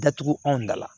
Datugu anw dala